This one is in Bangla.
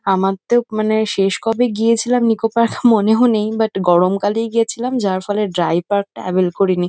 আমার তো মানে শেষ কবে গিয়েছিলাম নিকো পার্ক মনেও নেই বাট গরমকালেই গেছিলাম যার ফলে ড্রাই পার্ক ট্রাভেল করিনি।